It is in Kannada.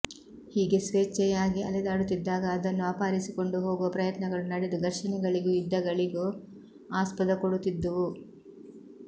ಹೀಗೆ ಸ್ವೇಚ್ಛೆಯಾಗಿ ಅಲೆದಾಡುತ್ತಿದ್ದಾಗ ಅದನ್ನು ಅಪಹರಿಸಿಕೊಂಡು ಹೋಗುವ ಪ್ರಯತ್ನಗಳು ನಡೆದು ಘರ್ಷಣೆಗಳಿಗೊ ಯುದ್ಧಗಳಿಗೊ ಆಸ್ಪದ ಕೊಡುತ್ತಿದ್ದುವು